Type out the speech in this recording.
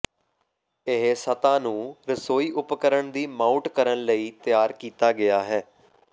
ਇਹ ਸਤਹ ਨੂੰ ਰਸੋਈ ਉਪਕਰਣ ਦੀ ਮਾਊਟ ਕਰਨ ਲਈ ਤਿਆਰ ਕੀਤਾ ਗਿਆ ਹੈ